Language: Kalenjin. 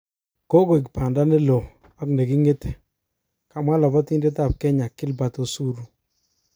Kogoik banda nelo ak nekingete,"kamwa lobotidet ab kenya Gilbert Osuru.